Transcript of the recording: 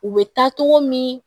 U bɛ taa cogo min